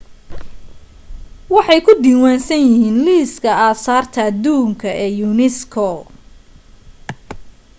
waxay ku diiwansan yihiin liiska aasaarta aduunka ee unesco